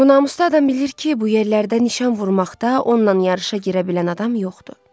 Bu namusda adam bilir ki, bu yerlərdə nişan vurmaqda onunla yarışa girə bilən adam yoxdur.